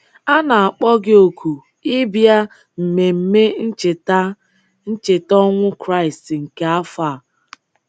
A na-akpọ gị oku ịbịa mmemme ncheta ncheta ọnwụ Kraịst nke afọ a.